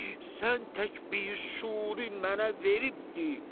Sən tək bir şuri mənə veribdir.